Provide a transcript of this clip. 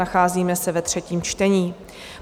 Nacházíme se ve třetím čtení.